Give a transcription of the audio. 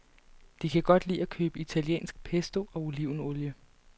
De kan godt lide at købe italiensk pesto og olivenolie.